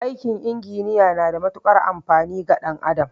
Aikin inginiya na da matuƙar amfani ga ɗan adam